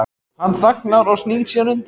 Hann þagnar og snýr sér undan.